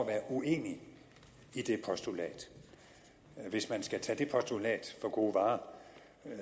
at være uenig i det postulat hvis man skal tage det postulat for gode varer